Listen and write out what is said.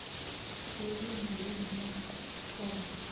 eyenziwe ngemva kokuthoma